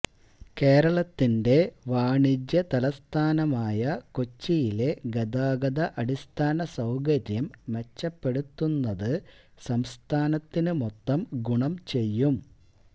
കേരളത്തിന്റെ വാണിജ്യ തലസ്ഥാനമായ കൊച്ചിയിലെ ഗതാഗത അടിസ്ഥാന സൌകര്യം മെച്ചപ്പെടുത്തുന്നത് സംസ്ഥാനത്തിന് മൊത്തം ഗുണം ചെയ്യും